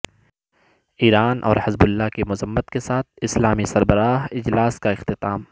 ایران اور حزب اللہ کی مذمت کے ساتھ اسلامی سربراہ اجلاس کا اختتام